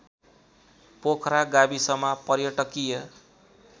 पोखरा गाविसमा पर्यटकीय